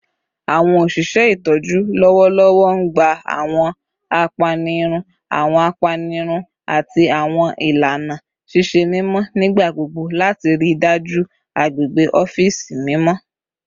Awọn oṣiṣẹ itọju lọwọlọwọ n gba awọn apanirun, awọn apanirun, ati awọn ilana ṣiṣe mimọ nigbagbogbo lati rii daju agbegbe ọfiisi mimọ